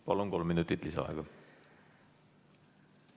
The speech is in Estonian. Palun, kolm minutit lisaaega!